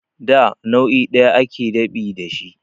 Da nau'i ɗaya ake dab'i da shi